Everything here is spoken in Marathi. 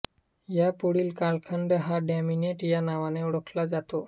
यापुढील कालखंड हा डॉमिनेट या नावाने ओळखला जातो